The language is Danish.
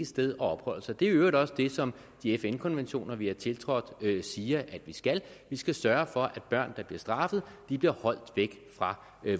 sted at opholde sig det er i øvrigt også det som de fn konventioner vi har tiltrådt siger at vi skal vi skal sørge for at børn der bliver straffet bliver holdt væk fra